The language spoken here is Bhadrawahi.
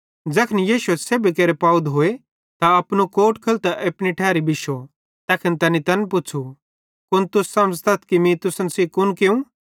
ज़ैखन यीशुए सेब्भी केरे पाव धोए त अपनू कोट लेइतां अपनी ठैरी बिश्शो तैखन तैनी तैन पुच़्छ़ू कुन तुस समझ़तथ कि मीं तुसन सेइं कुन कियूं